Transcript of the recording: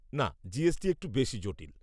না, জীএসটি একটু বেশি জটিল।